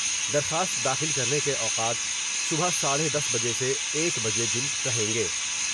درخواست داخل کرنے کے اوقات صبح ساڈے دس بجے سے ایک بجے دن رہیں گے ۔